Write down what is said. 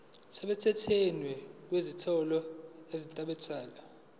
semthethweni kwezinyathelo ezathathwa